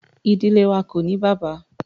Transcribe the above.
Ìdílé wá ko ní bàbá.